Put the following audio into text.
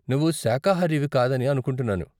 నువ్వు శాఖాహారివి కాదని అనుకుంటున్నాను.